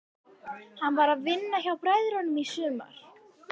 Hann var að vinna hjá bræðrunum í sumar.